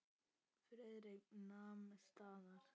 Friðrik nam staðar.